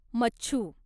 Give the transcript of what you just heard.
मच्छू